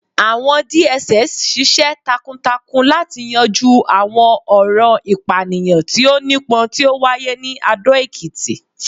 àwọn DSS ṣiṣẹ takuntakun lati yanju awọn ọran ipaniyan ti o nipọn ti o waye ni Ado Ekiti